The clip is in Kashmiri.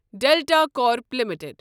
delta crop limited